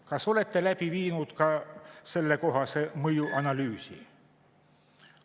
Kas olete läbi viinud ka sellekohase mõjuanalüüsi?